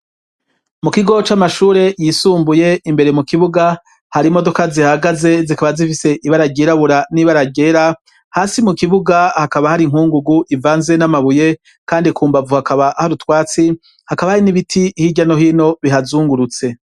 Mu kigo c'amashure yisumbuye imbere mu kibuga hari imodoka zihagaze zikaba zifise ibaragerabura n'ibaragera hasi mu kibuga hakaba hari inkungugu ivanze n'amabuye kandi kumbavu hakaba harutwatsi hakaba hari n'ibiti hijyano hino bihazungurutse.